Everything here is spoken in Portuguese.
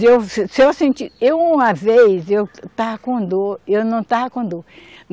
Eu, se eu senti. Eu uma vez, eu estava com dor, eu não estava com dor.